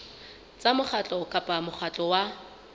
tsa mokgatlo kapa mokgatlo wa